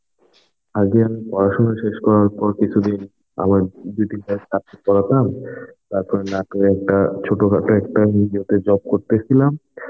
আগে পড়াশোনা শেষ করার পর কিছুদিন আমার দিদির পড়াতাম তারপরে নাটোরে একটা ছোটখাটো একটা ইয়েতে job করতেছিলাম.